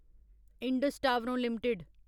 Indus टावरों limited